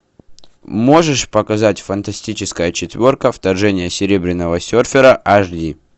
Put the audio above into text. можешь показать фантастическая четверка вторжение серебряного серфера аш ди